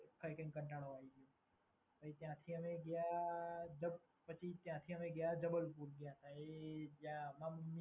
ખાઈ ખાઈને કંટાળો આઈ ગયો. ત્યાંથી અમે ગયા જ. પછી ત્યાંથી અમે ગયા જબલપુર ગયા તા એ ત્યાં